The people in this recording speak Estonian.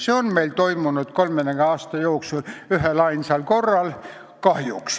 See on meil kahjuks toimunud 30 aasta jooksul ühelainsal korral.